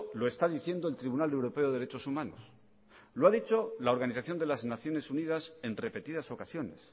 lo está diciendo el tribunal europeo de derechos humanos lo ha dicho la organización de las naciones unidas en repetidas ocasiones